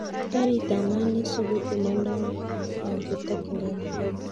Karit ab maat neisubu komondo au kotokyngei nairobi